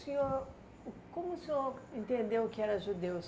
senhor uh como o senhor entendeu que era judeu?